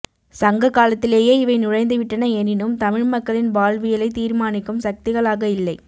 சங்க காலத்திலேயே இவை நுழைந்துவிட்டன எனினும் தமிழ் மக்களின் வாழ்வியலை தீர்மானிக்கும் சக்திகளாக இல்லை